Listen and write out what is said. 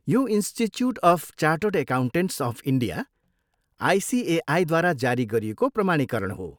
यो institute of chartered accountants of India, आइसिएआईद्वारा जारी गरिएको प्रमाणीकरण हो।